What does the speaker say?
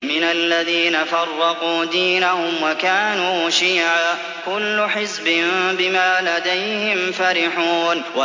مِنَ الَّذِينَ فَرَّقُوا دِينَهُمْ وَكَانُوا شِيَعًا ۖ كُلُّ حِزْبٍ بِمَا لَدَيْهِمْ فَرِحُونَ